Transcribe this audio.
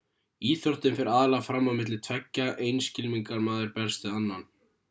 íþróttin fer aðallega fram á milli tveggja einn skylmingarmaður berst við annan